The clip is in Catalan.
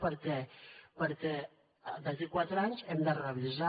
per què perquè d’aquí a quatre anys ho hem de revisar